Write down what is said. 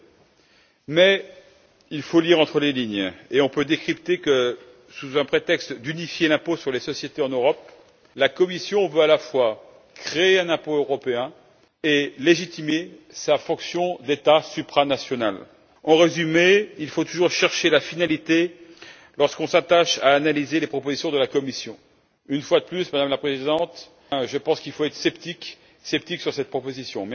Je pense que la Commission reprend essentiellement les propositions de l'OCDE. Mais il faut lire entre les lignes et on peut décrypter que, sous prétexte d'unifier l'impôt sur les sociétés en Europe, la Commission veut à la fois créer un impôt européen et légitimer sa fonction d'État supranational. En résumé, il faut toujours chercher la finalité lorsqu'on s'attache à analyser les propositions de la Commission. Une fois de plus, Madame la Présidente, je pense qu'il faut être sceptique face à cette proposition!